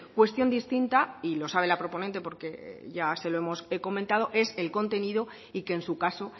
cuestión distinta y lo sabe la proponente porque ya se lo hemos comentado es el contenido y que en su caso